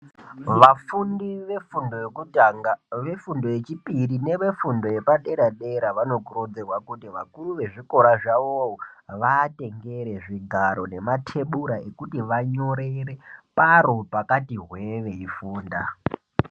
Vafundi vefundo yokutanga vefundo, yechipiri nevefundo yepadera dera vanokurudzirwa kuti vakuru vezvikora zvavo vaatengere zvigaro nematebhura okuti vanyorere kwaro pakati hwee veifunda.